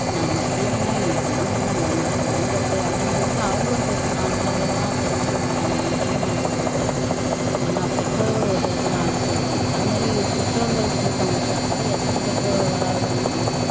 நம்ம ஸ்கூல்தான நீ எப்பன்னாலும் போயிக்கலாம் கவர்ன்மெண்ட் ஸ்கூல்லதான படிக்கிற அப்படின்னு சொல்லிட்டு அவங்களும் சேர்த்து நாலு நாள் லீவா சரி நீயும் வா நாலு நாளைக்குன்னு கூட்டிட்டு போயிடுவாங்க பெற்றோர்கள் ஒரு ல அலட்சியப்படுத்தலாம் அந்த மாதிரி பெற்றோர்கள் கூட்டம் வச்சாக்கா எத்தனை பெற்றோர்கள் வர்றார்கள்ன்னா